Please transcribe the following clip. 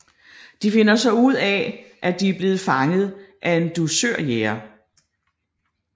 De finder så ud af at de er blevet fanget af en dusørjæger